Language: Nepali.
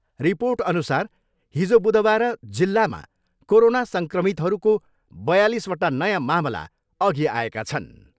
रिपोर्टअनुसार हिजो बुधबार जिल्लामा कोरोना सङ्क्रमितहरूको बयालिसवटा नयाँ मामला अघि आएका छन्।